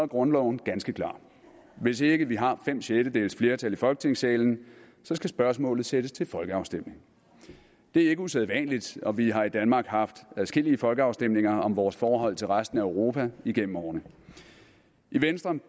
grundloven ganske klar hvis ikke vi har fem sjettedeles flertal i folketingssalen skal spørgsmålet sættes til folkeafstemning det er ikke usædvanligt og vi har i danmark haft adskillige folkeafstemninger om vores forhold til resten af europa igennem årene i venstre